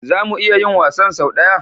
Za mu iya yin wasan sau ɗaya?